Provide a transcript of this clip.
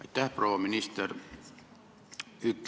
Aitäh, proua minister!